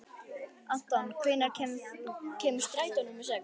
Anton, hvenær kemur strætó númer sex?